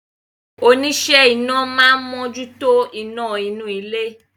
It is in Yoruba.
Oníṣẹ́ iná máa ń mójútó iná inú ilé